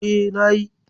E, na yi.